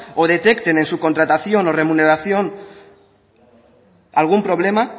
o detecten en su contratación o remuneración algún problema